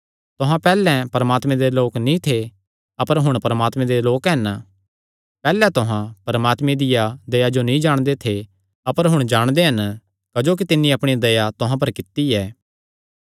तुहां पैहल्लैं परमात्मे दे लोक नीं थे अपर हुण तुहां परमात्मे दे लोक हन पैहल्लैं तुहां परमात्मे दिया दया नीं जो नीं जाणदे थे अपर हुण तुहां जाणदे हन क्जोकि तिन्नी अपणी दया तुहां पर कित्ती ऐ